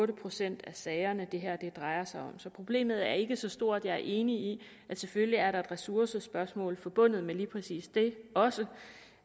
procent af sagerne det her drejer sig om så problemet er ikke så stort jeg er enig i at selvfølgelig er der et ressourcespørgsmål forbundet med lige præcis det også